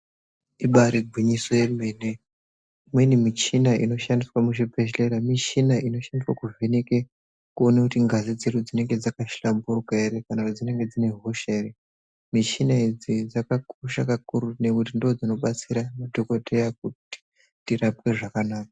Ibaari gwinyiso yemene imweni michini inoshandiswa muzvibhedhlera michini inoshandiswa kuvheneke kuona kuti ngazi dzedu dzinonga dzakahlamburuka here kana dzinenge dziine hosha here michini idzi dzakakosha kakurutu nekuti ndidzo dzinobatsira madhokodheya kuti tirapwe zvakanaka.